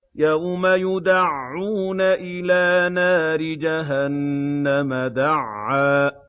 يَوْمَ يُدَعُّونَ إِلَىٰ نَارِ جَهَنَّمَ دَعًّا